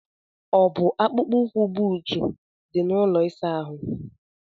ọ bụ akpụkpọ ụkwụ, buut di, na ụlọ ịsa ahụ?